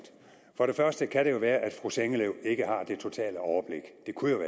for det første kan det jo være at fru sengeløv ikke har det totale overblik det kunne jo